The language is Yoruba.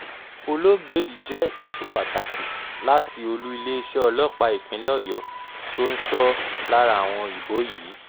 olóògbé yìí jẹ́ èso pàtàkì láti olú iléeṣẹ́ ọlọ́pàá ìpínlẹ̀ ọ̀yọ́ tó ń sọ lára àwọn òyìnbó yìí